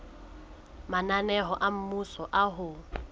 mananeo a mmuso a ho